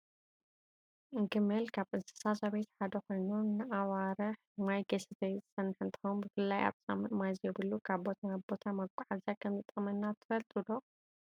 ግመል ካብ እንስሳ ዘቤት ሓደ ኮይኑ ንኣዋርሕ ማይ ከይሰተየ ዝፀንሕ እንትከውን ብፍላይ ኣብ ፃምእ ማይ ዘይብሉ ካብ ቦታ ናብ ቦታ መጓዓዝያ ከም ዝጠቅመና ትፈልጡ ዶ ?